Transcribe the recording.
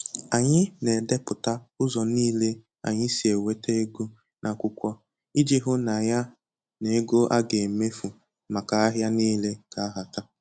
Anyị na-edepụta ụzọ nile anyị si enweta ego n'akwụkwọ iji hụ na ya n'ego a ga-emefu maka ahịa niile ga-ahata